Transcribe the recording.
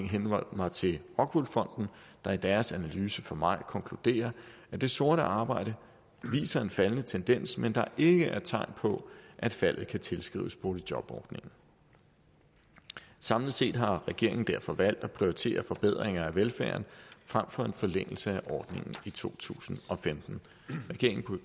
henholde mig til rockwool fonden der i deres analyse fra maj konkluderer at det sorte arbejde viser en faldende tendens men at der ikke er tegn på at faldet kan tilskrives boligjobordningen samlet set har regeringen derfor valgt at prioritere forbedringer af velfærden frem for en forlængelse af ordningen i to tusind og femten regeringen